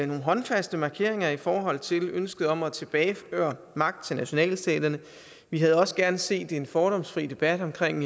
nogle håndfaste markeringer i forhold til ønsket om at tilbageføre magt til nationalstaterne vi havde også gerne set en fordomsfri debat omkring